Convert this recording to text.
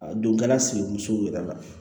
A donkɛla si buranmusow yɛrɛ la